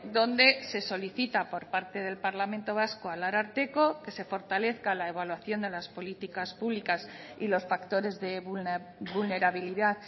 donde se solicita por parte del parlamento vasco al ararteko que se fortalezca la evaluación de las políticas públicas y los factores de vulnerabilidad